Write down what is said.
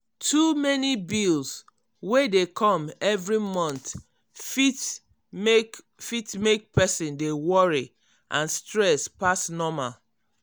too many bills wey dey come every month fit mek fit mek person dey worry and stress pass normal.